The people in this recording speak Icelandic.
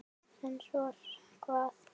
En svo hvað?